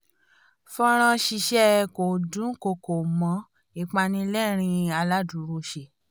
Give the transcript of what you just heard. fọ́nrán ṣíṣe kò dùnkọkọ̀ mọ́ ìpani lérìn-ín aládùrọsẹ̀